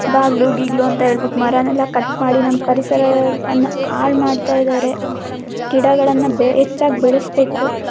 ಬಾಗ್ಲು ಗಿಗ್ಲೂ ಅಂತ ಹೇಳ್ಬಿಟ್ಟು ಮರನೆಲ್ಲಾ ಕಟ್ ಮಾಡಿ ನಮ್ಮ್ ಪರಿಸರ ವನ್ನ ಹಾಳ್ ಮಾಡ್ತಾಇದ್ದಾರೆ ಗಿಡಗಳನ್ನ ಹೆಚ್ಚಾಗ್ ಬೆಳೆಸ್ಬೇಕು.